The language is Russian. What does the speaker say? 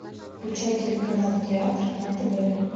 включай телеканал театр на тв